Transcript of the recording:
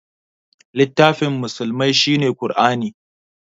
Littafin musulmai shine Qur'ani